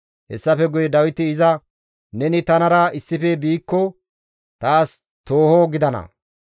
Hessafe guye Dawiti iza, «Neni tanara issife biikko taas tooho gidana;